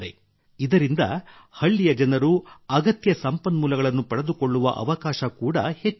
ಇದರಿಂದ ಹಳ್ಳಿಯ ಜನರು ಅಗತ್ಯ ಸಂಪನ್ಮೂಲಗಳನ್ನು ಪಡೆದುಕೊಳ್ಳುವ ಅವಕಾಶ ಕೂಡಾ ಹೆಚ್ಚಾಗಿದೆ